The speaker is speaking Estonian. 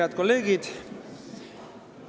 Head kolleegid!